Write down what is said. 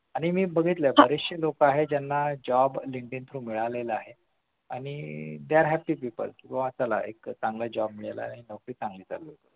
आणि मी बघितलं बरेचशे लोकं आहेत ज्यांना job Linkdin through मिळालेलं आहे आणि एक चांगला job मिळालेलं आहे आणि चांगलं चालू आहे